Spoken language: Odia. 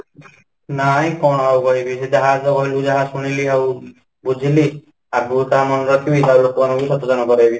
ନାଇଁ , କ'ଣ ଆଉ କହିବି ? ସେ ଯାହା ତ କହିଲି ଯାହା ତ ଶୁଣିଲି ଆଉ ବୁଝିଲି ଆଗକୁ ତ ଆମର ଘର ଲୋକ ଙ୍କୁ ବାହାର ଲୋକ ଙ୍କୁ ସଚେତନ କରେଇବି